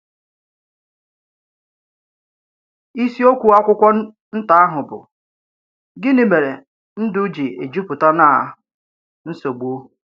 Ísìokwú ákwàkwọ́ nta ahụ bụ “Gịnị̀ mèrè ndù jì éjupụta ná nsogbu?”